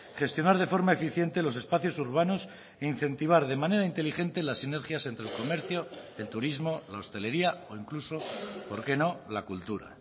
gestionar de forma eficiente los espacios urbanos e incentivar de manera inteligente las sinergias entre el comercio el turismo la hostelería o incluso por qué no la cultura